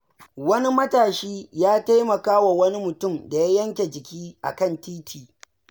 Wani matashi ya taimaka wa wani mutum da ya yanke jiki a kan titi.